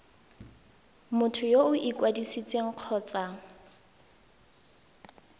motho yo o ikwadisitseng kgotsa